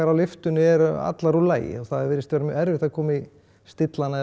á lyftunni eru allar úr lagi og það virðist vera mjög erfitt að stilla hana